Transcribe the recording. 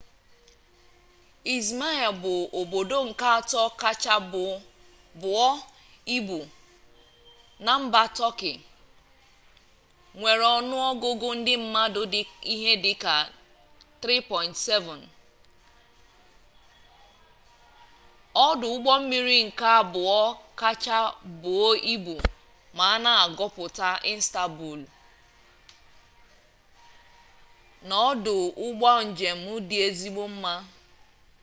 izmir bụ obodo nke atọ kacha buo ibu na mba tọkị nwere ọnụọgụgụ ndị mmadụ dị ihe dịka nde 3 7 ọdụ ụgbọmmiri nke abụọ kacha buo ibu ma a gụpụ istanbulu na ọdụ ụgbọ njem dị ezigbo mma